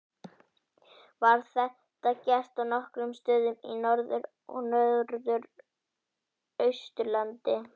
Var þetta gert á nokkrum stöðum á Norður- og Norðausturlandi.